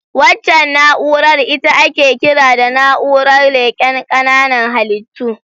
Waccan na'urar ita ake kira da na'urar leƙen ƙananan halittu.